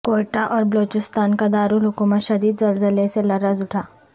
کوئٹہ اور بلوچستان کا دارالحکومت شدید زلزلے سے لرز اٹھا